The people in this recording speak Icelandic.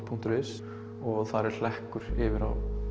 punktur is og þar er hlekkur yfir á